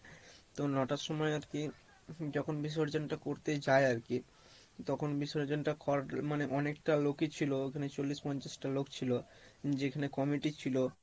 তো নটার সময়ে আর কী যখন বিসর্জন টা করতে যাই আর কী তখন বিসর্জন টা মানে অনেকটা লোকই ছিলো ওখানে চল্লিশ পঞ্চাশ টা লোক ছিলো, যেখানে comity ছিলো